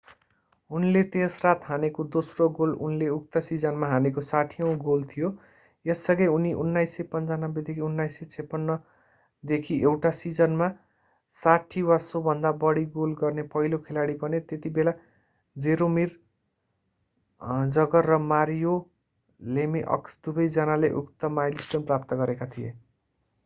उनले त्यस रात हानेको दोस्रो गोल उनले उक्त सिजनमा हानेको 60औँ गोल थियो यससँगै उनी सन् 1995-1996 देखि एउटा सिजनमा 60 वा सोभन्दा बढी गोल गर्ने पहिलो खेलाडी बने त्यतिबेला जरोमिर जगर र मारियो लेमिअक्स दुवै जनाले उक्त माइलस्टोन प्राप्त गरेका थिए